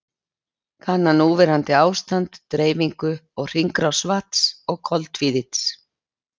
Kanna núverandi ástand, dreifingu og hringrás vatns og koltvíildis.